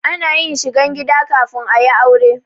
Ana yin shigan gida kafin a yi aure.